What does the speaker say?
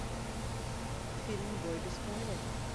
фильм бой без правил